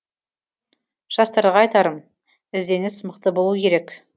жастарға айтарым ізденіс мықты болу керек